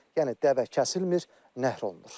Yəni dəvə kəsilmir, nəhr olunmur.